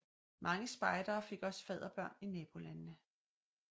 Mange spejdere fik også fadderbørn i nabolandene